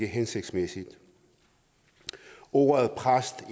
hensigtsmæssigt ordet præst